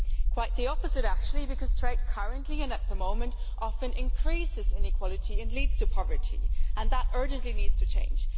Quite the opposite actually, because trade currently and at the moment often increases inequality and leads to poverty, and that urgently needs to change.